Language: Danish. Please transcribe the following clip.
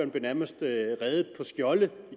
blev nærmest redet på skjolde